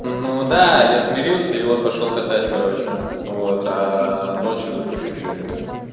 ну да я смирился и вот пошёл катать короче вот а ночью запущу чего-нибудь там